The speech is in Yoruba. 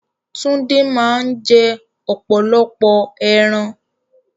Túndé máa ń jẹ́ ọ̀pọ̀lọpọ̀ ẹran